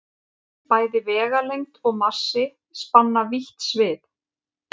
Bæði vegalengd og massi spanna vítt svið.